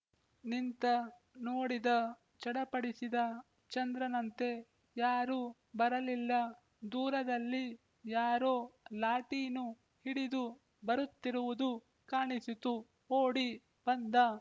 ನಿಂತ ನೋಡಿದ ಚಡಪಡಿಸಿದ ಚಂದ್ರನಂತೆ ಯಾರೂ ಬರಲಿಲ್ಲ ದೂರದಲ್ಲಿ ಯಾರೋ ಲಾಟೀನು ಹಿಡಿದು ಬರುತ್ತಿರುವುದು ಕಾಣಿಸಿತು ಓಡಿ ಬಂದ